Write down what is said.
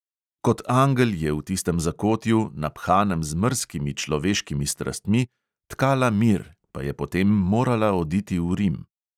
Kot angel je v tistem zakotju, naphanem z mrzkimi človeškimi strastmi, tkala mir, pa je potem morala oditi v rim.